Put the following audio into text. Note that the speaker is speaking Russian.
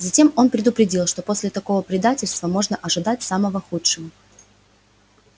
затем он предупредил что после такого предательства можно ожидать самого худшего